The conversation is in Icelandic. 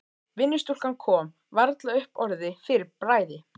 Vinnustúlkan kom varla upp orði fyrir bræði.